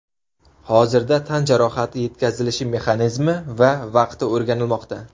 Hozirda tan jarohati yetkazilishi mexanizmi va vaqti o‘rganilmoqda.